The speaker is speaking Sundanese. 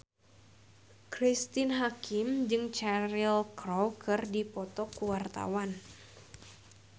Cristine Hakim jeung Cheryl Crow keur dipoto ku wartawan